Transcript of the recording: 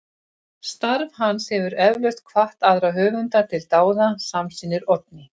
Starf hans hefur eflaust hvatt aðra höfunda til dáða, samsinnir Oddný.